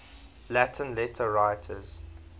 latin letter writers